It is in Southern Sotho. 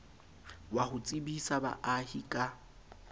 wa ho tsebisa baahi ka